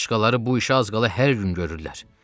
Başqaları bu işi az qala hər gün görürlər.